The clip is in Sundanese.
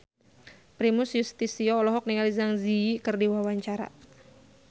Primus Yustisio olohok ningali Zang Zi Yi keur diwawancara